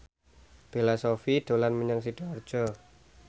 Bella Shofie dolan menyang Sidoarjo